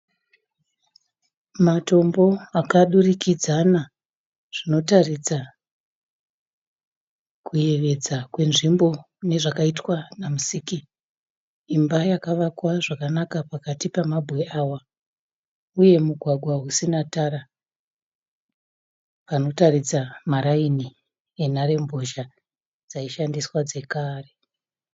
Matombo akadurikidzana zvinotaridza kuyevedza kwenzvimbo nezvakaitwa namusiki. Imba yakavakwa zvakanaka pakati pemabwe awa, uye mugwagwa usina tara. Panotaridza maraini enharembozha dzaishandiswa dzekare.